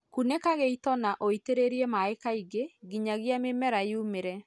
kũnĩka gĩĩto na ũĩtĩrĩrĩe maĩ kaĩngĩ ngĩnyagĩa mĩmera yũmĩre